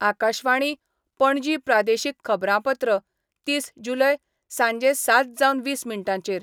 आकाशवाणी, पणजी प्रादेशीक खबरांपत्र तीस जुलय, सांजे सात जावन वीस मिनटांचेर